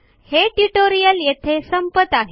हे ट्यूटोरियल येथे संपत आहे